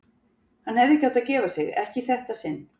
Hann hefði ekki átt að gefa sig, ekki í þetta sinn.